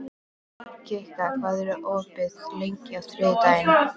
Kikka, hvað er opið lengi á þriðjudaginn?